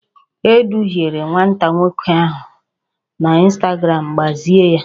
E duhiere nwata nwoke ahụ na ịnstagramụ, gbazie ya!